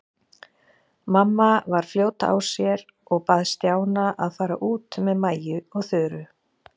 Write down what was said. Mamma var fljót á sér og bað Stjána að fara út með Maju og Þuru.